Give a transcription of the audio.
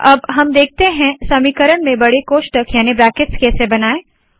अब हम देखते है समीकरण में बड़े कोष्टक याने के ब्रैकेट्स कैसे बनाये